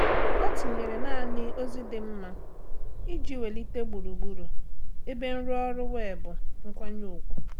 Ọ́ tìnyèrè nāànị́ ózị́ dị mma iji wèlíté gburugburu ebe nrụọrụ weebụ nkwanye ùgwù.